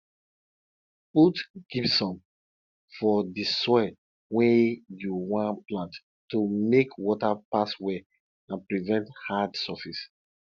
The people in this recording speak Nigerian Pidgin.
put gypsum for di soil wey you wan plant to make water pass well and prevent hard surface